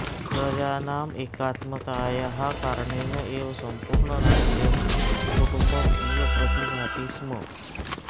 प्रजानाम् एकात्मतायाः कारणेन एव सम्पूर्णं राज्यं कुटुम्बम् इव प्रतिभाति स्म